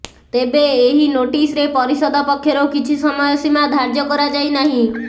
ତେବେ ଏହି ନୋଟିସରେ ପରିଷଦ ପକ୍ଷରୁ କିଛି ସମୟ ସୀମା ଧାର୍ଯ୍ୟ କରାଯାଇ ନାହିଁ